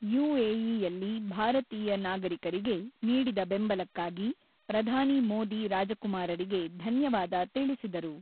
ಯುಎಇಯಲ್ಲಿ ಭಾರತೀಯ ನಾಗರಿಕರಿಗೆ ನೀಡಿದ ಬೆಂಬಲಕ್ಕಾಗಿ ಪ್ರಧಾನಿ ಮೋದಿ ರಾಜಕುಮಾರರಿಗೆ ಧನ್ಯವಾದ ತಿಳಿಸಿದರು.